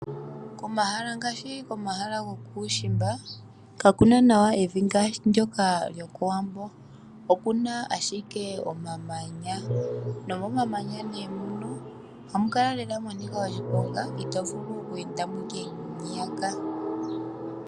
Komahala ngaashi komahala gokuushimba, kakuna nawa evi ngaashi ndyoka lyokowambo. Okuna ashike omamanya, nomomamanya nee mono ohamu kala lela mwa nika oshiponga, ito vulu oku endapo ashike ngeyaka.